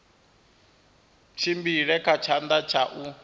tshimbile kha tshanḓa tsha u